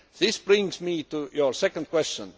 This brings me to your second question.